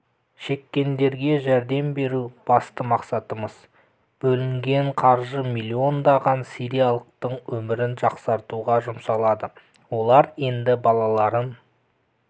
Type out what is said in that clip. шеккендерге жәрдем беру басты мақсатымыз бөлінген қаржы миллиондаған сириялықтың өмірін жақсартуға жұмсалады олар енді балаларын